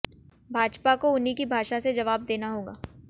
भाजपा को उन्हीं की भाषा से जबाव देना होगा